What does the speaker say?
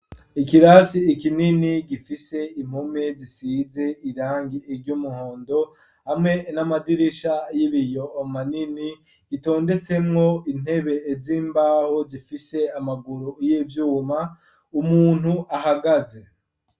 Ikirasi ikinini gifise impome zisize irangi ry'umuhondo hamwe n'amadirisha y'ibiyo manini gitondetsemwo intebe z'imbaho zifise amaguru y'ivyuma umuntu ahagaze.